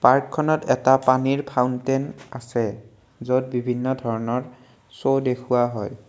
পাৰ্কখনত এটা পানীৰ ফাউনটেন আছে য'ত বিভিন্ন ধৰণৰ শ্ব' দেখুওৱা হয়।